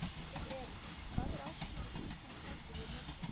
Við erum, hvað er ásættanlegt að Ísland taki við mörgum?